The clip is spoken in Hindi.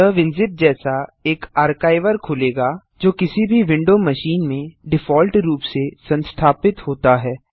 यह विनजिप जैसा एक आर्काइवर खोलेगा जो किसी भी विंडो मशीन में डिफॉल्ट रूप से संस्थापित होता है